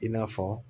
I n'a fɔ